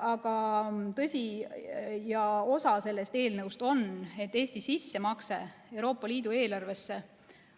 Aga tõsi, osa sellest eelnõust on, et Eesti sissemakse Euroopa Liidu eelarvesse